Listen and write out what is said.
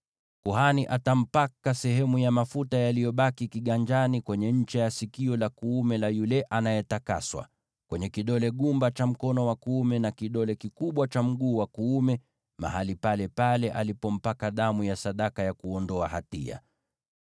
Kuhani atampaka yule anayetakaswa sehemu ya mafuta yaliyobaki kiganjani kwenye ncha ya sikio lake la kuume, kwenye kidole gumba cha mkono wake wa kuume, na kidole kikubwa cha mguu wake wa kuume, mahali palepale alipompaka damu ya sadaka ya kuondoa hatia.